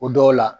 O dɔw la